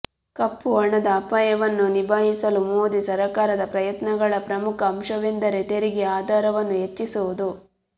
ಕಪ್ಪು ಹಣದ ಅಪಾಯವನ್ನು ನಿಭಾಯಿಸಲು ಮೋದಿ ಸರಕಾರದ ಪ್ರಯತ್ನಗಳ ಪ್ರಮುಖ ಅಂಶವೆಂದರೆ ತೆರಿಗೆ ಆಧಾರವನ್ನು ಹೆಚ್ಚಿಸುವುದು